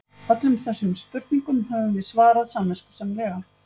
Öllum þessum spurningum höfum við svarað samviskusamlega.